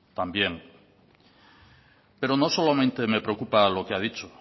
también pero no solamente me preocupa lo que ha dicho